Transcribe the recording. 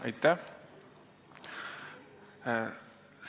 Aitäh!